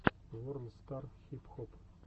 ворлд стар хип хоп